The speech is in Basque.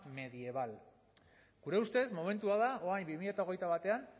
medieval gure ustez momentua da orain bi mila hogeita batean